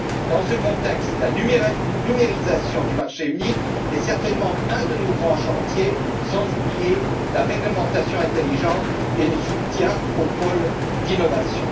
Dans ce contexte, la numérisation du marché unique est certainement un de nos grands chantiers, sans oublier la réglementation intelligente et le soutien aux pôles d'innovation.